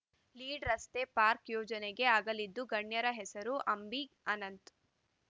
ಲೀಡ್‌ರಸ್ತೆ park ಯೋಜನೆಗೆ ಅಗಲಿದ ಗಣ್ಯರ ಹೆಸರು ಅಂಬಿ ಅನಂತ್‌